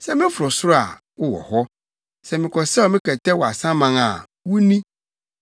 Sɛ meforo soro a, wowɔ hɔ. Na mekɔsɛw me kɛtɛ wɔ asaman a, wo ni.